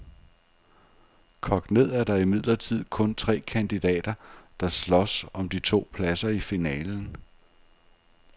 Kogt ned er der imidlertid kun tre kandidater, der slås om de to pladser i finalen.